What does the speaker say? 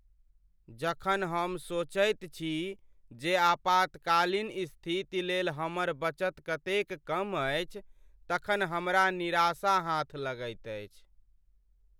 जखन हम सोचैत छी जे आपातकालीन स्थिति लेल हमर बचत कतेक कम अछि तखन हमरा निराशा हाथ लगैत अछि।